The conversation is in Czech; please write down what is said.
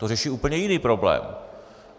To řeší úplně jiný problém.